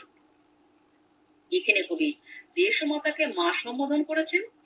এখানে কবি দেশমাতাকে মা সম্বোধণ করেছেন